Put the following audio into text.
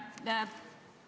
Hea Helme!